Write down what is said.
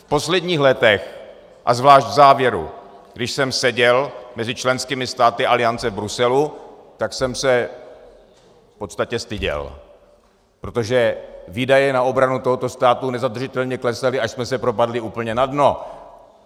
V posledních letech a zvlášť v závěru, když jsem seděl mezi členskými státy Aliance v Bruselu, tak jsem se v podstatě styděl, protože výdaje na obranu tohoto státu nezadržitelně klesaly, až jsme se propadli úplně na dno.